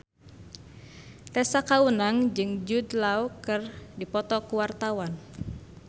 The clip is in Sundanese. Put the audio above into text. Tessa Kaunang jeung Jude Law keur dipoto ku wartawan